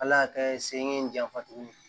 Ala y'a kɛ sen ye n janfa t'o la